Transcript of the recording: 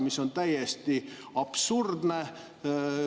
See on täiesti absurdne.